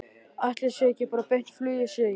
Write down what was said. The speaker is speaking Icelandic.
Ætli sé ekki bara beint flug, segi ég.